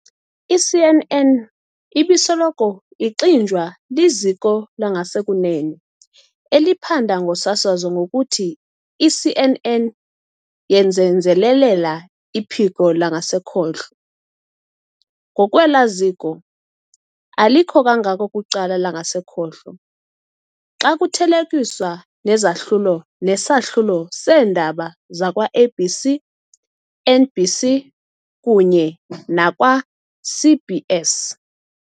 I-CNN ibisoloko ixinjwa liziko langasekunene eliphanda ngoSasazo ngokuthi i-CNN yenzelelela iphiko langasekhohlo. Ngokwela ziko, alikho kangako kwicala langasekhohlo xa kuthelekiswa nezahlulo nesahlulo seendaba zakwa ABC, NBC, kunye nakwa-CBS.